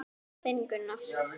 Þinn, Gunnar.